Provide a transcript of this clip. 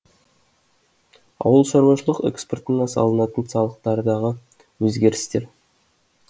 ауылшаруашылық экспортына салынатын салықтардағы өзгерістер